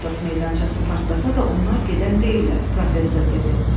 Nollendorf meydançası partlasa da onlar gedən deyillər, professor dedi.